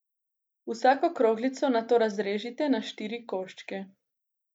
Vsako kroglico nato razrežite na štiri koščke.